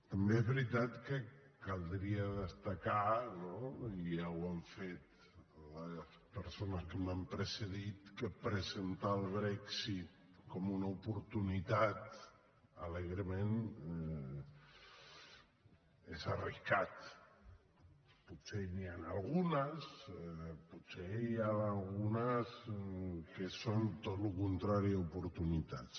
també es veritat que caldria destacar no i ja ho han fet les persones que m’han precedit que presentar el brexit com una oportunitat alegrement és arriscat potser n’hi han algunes potser n’hi han algunes que són tot el contrari a oportunitats